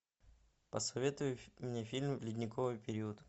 посоветуй мне фильм ледниковый период